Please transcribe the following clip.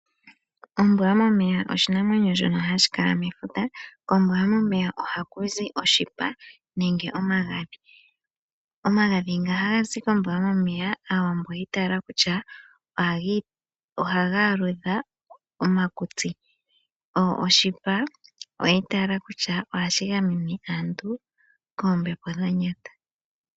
Ombwa yomomeya oshinamwenyo shono hashi kala mefuta. Kombwa yomomeya oha ku zi oshipa nenge omagadhi. Omagadhi nga ha ga zi kombwa yomomeya, Aawambo oyi i taala kutya ohga aludha omakutsi, oshipa, oyi i taala kutya ohashi gamene aantu koombepo dha nyata.